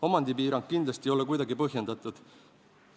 Omandipiirang kindlasti ei ole kuidagi põhjendatud.